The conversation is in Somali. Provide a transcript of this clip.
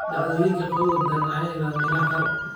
Dhacdooyinka qabowga daran ayaa yaraaday meelaha qaar.